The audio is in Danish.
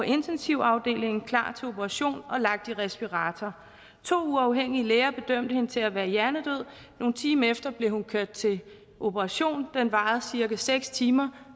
intensiv afdelingen klar til operation og lagt i respirator to uafhængige læger bedømte hende til at være hjernedød nogle timer efter blev hun kørt til operation den varede cirka seks timer